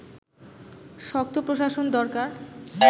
শক্ত প্রশাসন দরকার